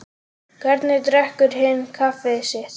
Hvernig drekkur hinn kaffið sitt?